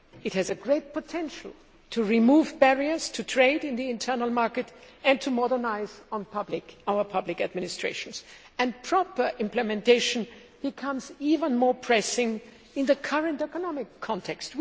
It has a great potential to remove barriers to trade in the internal market and to modernise our public administrations, and proper implementation becomes even more pressing in the current economic context.